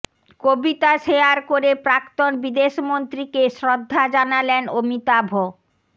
কবিতা share করে প্রাক্তন বিদেশ মন্ত্রীকে শ্রদ্ধা জানালেন অমিতাভ